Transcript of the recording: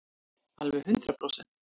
Alveg hundrað prósent.